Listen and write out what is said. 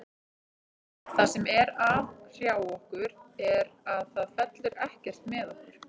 Það sem er að hrjá okkur er að það fellur ekkert með okkur.